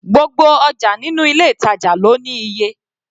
Gbogbo ọjà nínú ilé ìtàjà lọ ní iye.